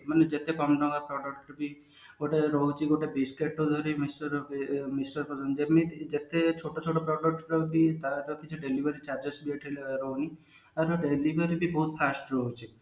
ମାନେ କେତେ କମ ଟଙ୍କାର product ବି ହଉଛି ପର୍ଯ୍ୟନ୍ତ ବି ଛୋଟ ଛୋଟ product ରହୁଛି ତାର କିଛି delivery charges ଏଠି ଆଉ delivery ବି ବହୁତ fast ରହୁଛି